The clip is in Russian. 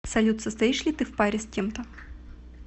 салют состоишь ли ты в паре с кем то